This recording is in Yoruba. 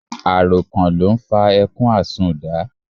Àròkàn ló n fa ẹkún àsunnda